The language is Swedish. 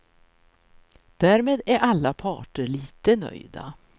Därmed är alla parter lite nöjda.